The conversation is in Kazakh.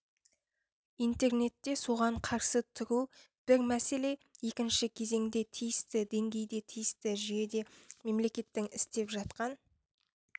интернетте соған қарсы тұру бір мәселе екінші кезеңде тиісті деңгейде тиісті жүйеде мемлекеттің істеп жатқан